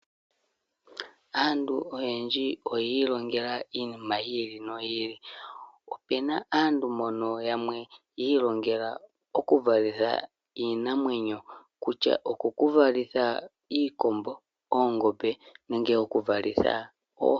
Aantu oyendji oyi ilongela iinima yi ili noyi ili. Opuna aantu mbono yamwe yi ilongela okuvalitha iinamwenyo, kutya okuvalitha iikombo, oongombe, nenge okuvalitha oohi.